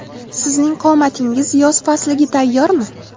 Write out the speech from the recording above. Sizning qomatingiz yoz fasliga tayyormi?